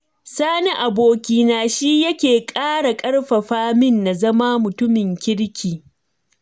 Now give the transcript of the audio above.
Sani abokina shi yake ƙara ƙarfafa min na zama mutumin kirki